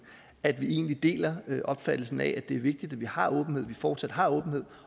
at vi deler opfattelsen af at det er vigtigt at vi har åbenhed at vi fortsat har åbenhed